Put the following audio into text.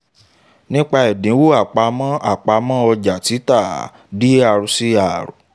nípa ẹ̀dínwó àpamọ́ àpamọ́ ọjà títà dr cr